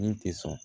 Min tɛ sɔn